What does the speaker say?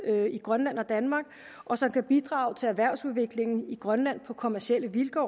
i grønland og danmark og som kan bidrage til erhvervsudviklingen i grønland på kommercielle vilkår